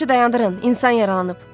işi dayandırın, insan yaralanıb.